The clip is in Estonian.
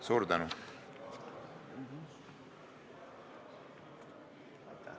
Suur tänu!